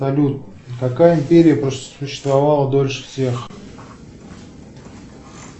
салют какая империя просуществовала дольше всех